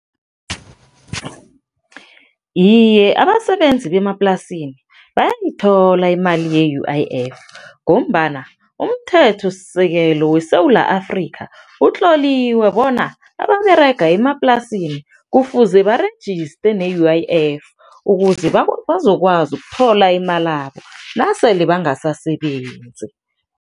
Iye, abasebenzi bemaplasini bayayithola imali ye-U_I_F ngombana umthethosisekelo weSewula Afrika utloliwe bona ababerega emaplasini kufuze barejiste ne-U_I_F ukuze bazokwazi ukuthola imalabo nasele bangasasebenzi.